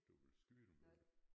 Du vil skyde dem vil du